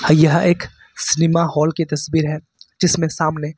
यह एक cinema hall की तस्वीर है जिसमें सामने--